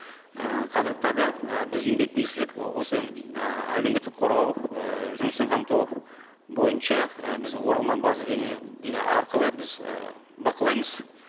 ііі қазіргі і біз еңбек министрлік осы ііі әлеуметтік қорғау ыыы жұмыспен қамту бойынша і біз оралман база деген арқылы біз ы бақылаймыз